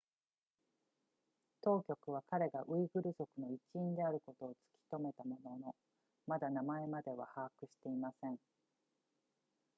当局は彼がウイグル族の一員であることを突きとめたもののまだ名前までは把握していません